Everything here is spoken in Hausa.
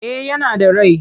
Eh yana da rai.